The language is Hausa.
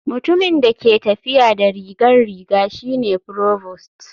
Mutumin da ke tafiya da rigar riga shi ne provost.